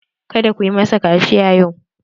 Ka da ku masa kaciya yau!